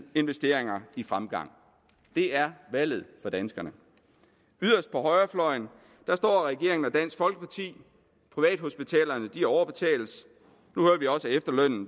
investeringer i fremgang det er valget for danskerne yderst på højrefløjen står regeringen og dansk folkeparti privathospitalerne overbetales